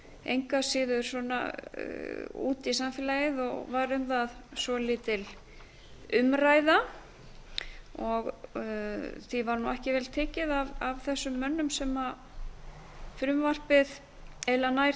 engu að síður út í samfélagið og var um það svolítil umræða því var nú ekki vel tekið af þessum mönnum sem frumvarpið eiginlega nær